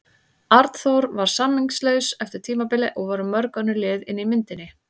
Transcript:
Arnþór var samningslaus eftir tímabilið en voru mörg önnur lið inni í myndinni?